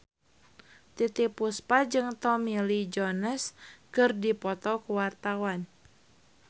Titiek Puspa jeung Tommy Lee Jones keur dipoto ku wartawan